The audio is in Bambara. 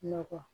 Nɔgɔ